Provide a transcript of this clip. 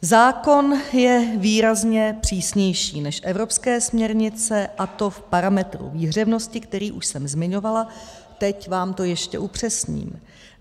Zákon je výrazně přísnější než evropské směrnice, a to v parametru výhřevnosti, který už jsem zmiňovala, teď vám to ještě upřesním.